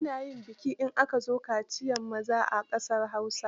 Ana yin biki in aka zo yin kaciyar maza a ƙasar Hausa.